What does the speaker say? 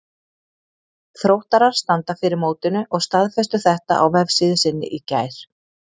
Þróttarar standa fyrir mótinu og staðfestu þetta á vefsíðu sinni í gær.